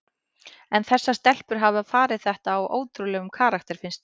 En þessar stelpur hafa farið þetta á ótrúlegum karakter finnst mér.